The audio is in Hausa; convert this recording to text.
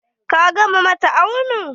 Ka gama mata auni?